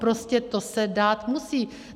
Prostě to se dát musí.